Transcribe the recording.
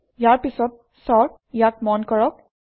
ইয়াৰ পিছত চৰ্ট ইয়াক মন কৰক